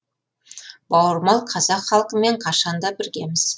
бауырмал қазақ халқымен қашан да біргеміз